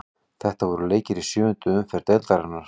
Þetta voru leikir í sjöundu umferð deildarinnar.